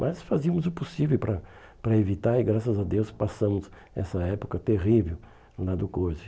Mas fazíamos o possível para para evitar e graças a Deus passamos essa época terrível lá do coisa.